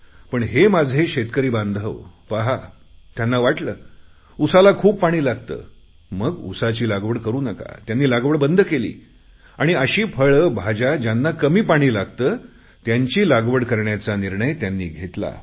पण हे माझे शेतकरी बांधव पहा त्यांना वाटले उसाला खूप पाणी लागते मग ऊसाची लागवड करु नका त्यांनी लागवड बंद केली आणि अशी फळे भाज्या ज्यांना कमी पाणी लागते त्यांची लागवड करण्याचा निर्णय त्यांनी घेतला